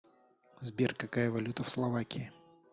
сбер какая валюта в словакии